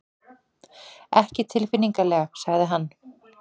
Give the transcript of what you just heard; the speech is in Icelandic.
Ekki tilfinnanlega sagði hann.